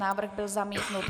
Návrh byl zamítnut.